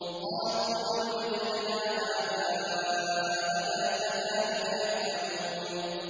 قَالُوا بَلْ وَجَدْنَا آبَاءَنَا كَذَٰلِكَ يَفْعَلُونَ